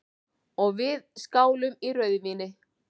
Og við skálum í rauðvíni.